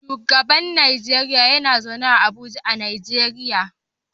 Shugaban Najeriya yana zaune a Abuja a Najeriya.